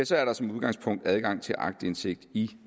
så er der som udgangspunkt adgang til aktindsigt i